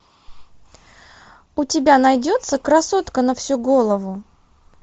у тебя найдется красотка на всю голову